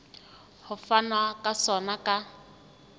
ho fanwa ka sona ka